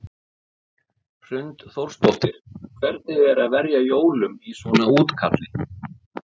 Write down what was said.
Hrund Þórsdóttir: Hvernig er að verja jólum í svona útkalli?